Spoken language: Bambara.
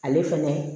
Ale fɛnɛ